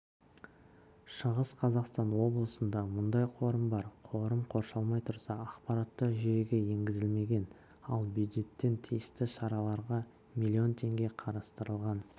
шығыс қазақстан облысында мұндай қорым бар қорым қоршалмай тұрса ақпараттық жүйеге енгізілмеген ал бюджеттен тиісті шараларға млн теңге қарастырылған